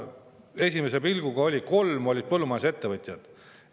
Esmapilgul olid kolm neist põllumajandusettevõtet.